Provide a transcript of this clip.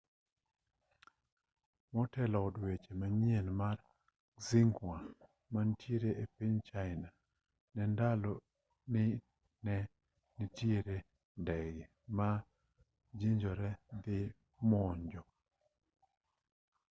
motelo od weche manyien mar xinhua manitiere e piny china ne olando ni ne nitiere ndege ma jonjore dhi monjo